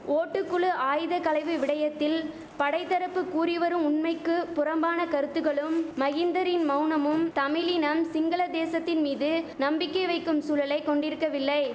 ஓட்டுக்குழு ஆயுதகளைவு விடயத்தில் படைதரப்பு கூறி வரும் உண்மைக்கு புறம்பான கருத்துக்களும் மகிந்தரின் மௌனமும் தமிழினம் சிங்கள தேசத்தின் மீது நம்பிக்கை வைக்கும் சூழலை கொண்டிருக்கவில்லை